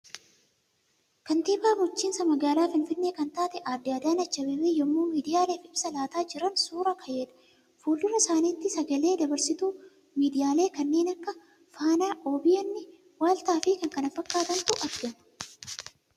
Kantiibaa bulchiinsa magaalaa Finfinnee kan taate adde Adaanach Abeebee yemmuu miidiyaaleef ibsa laataa jiran suura ka'eedha. Fuuldura isaanitti sagalee dabarsituu miidiyaalee kannee akka Faanaa, OBN , Waaltaafi kanneen kana fakkaatantu argama.